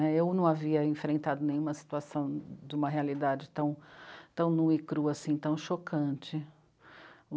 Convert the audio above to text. Eu não havia enfrentado nenhuma situação de uma realidade tão... tão nua e crua assim, tão chocante.